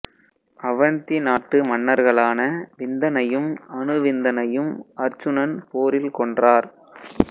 அவந்தி நாட்டு மன்னர்களான விந்தனையும் அனுவிந்தனையும் அருச்சுனன் போரில் கொன்றார்